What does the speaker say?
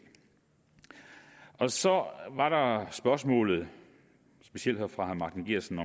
af så var spørgsmålet specielt fra herre martin geertsen